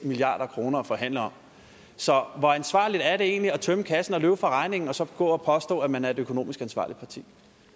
milliard kroner at forhandle om så hvor ansvarligt er det egentlig at tømme kassen og løbe fra regningen og så gå og påstå at man er et økonomisk ansvarligt parti